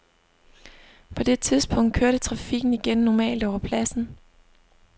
På det tidspunkt kørte trafikken igen normalt over pladsen.